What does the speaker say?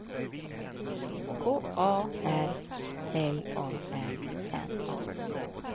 K A R L A R N A